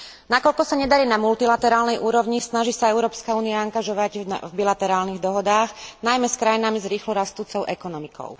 Nakoľko sa nedarí na multilaterálnej úrovni, snaží sa Európska únia angažovať v bilaterálnych dohodách, najmä s krajinami s rýchlo rastúcou ekonomikou.